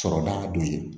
Sɔrɔba don ye